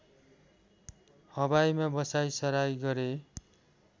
हवाईमा बसाइसराइ गरे